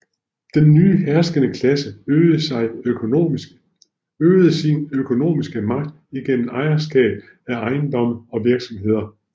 Den nye herskende klasse øgede sin økonomiske magt igennem ejerskab af ejendomme og virksomheder